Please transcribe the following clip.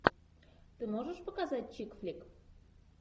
ты можешь показать чикфлик